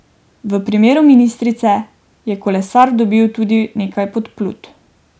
V primeru ministrice je kolesar dobil tudi nekaj podplutb.